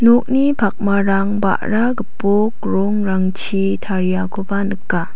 nokni pakmarang ba·ra gipok rongrangchi tariakoba nika.